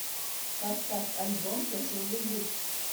поставь альбом тяжелый люкс